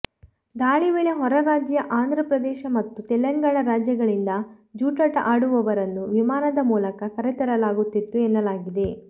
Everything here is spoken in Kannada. ದಾಳಿ ವೇಳೆ ಹೊರ ರಾಜ್ಯ ಆಂಧ್ರ ಪ್ರದೇಶ ಮತ್ತು ತೆಲಂಗಾಣ ರಾಜ್ಯಗಳಿಂದ ಜೂಜಾಟ ಆಡುವರನ್ನು ವಿಮಾನದ ಮೂಲಕ ಕರೆತರಲಾಗುತ್ತಿತ್ತು ಎನ್ನಲಾಗಿದೆ